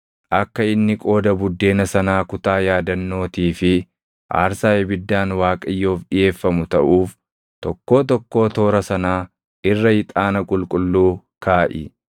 Akka inni qooda buddeena sanaa kutaa yaadannootii fi aarsaa ibiddaan Waaqayyoof dhiʼeeffamu taʼuuf tokkoo tokkoo toora sanaa irra ixaana qulqulluu kaaʼi.